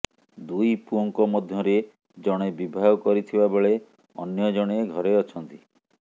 ଦୁଇ ପୁଅଙ୍କ ମଧ୍ୟରେ ଜଣେ ବିବାହ କରିଥିବା ବେଳେ ଅନ୍ୟ ଜଣେ ଘରେ ଅଛନ୍ତି